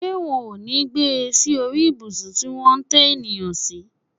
Ṣé wọn ò ní gbé sí orí ìbùsùn tí wón ń tẹ ènìyàn sí